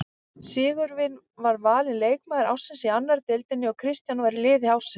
Sigurvin var valinn leikmaður ársins í annarri deildinni og Kristján var í liði ársins.